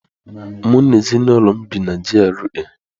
Mụ na ezinaụlọ m bi na G.R.A